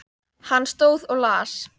Hann stóð og las.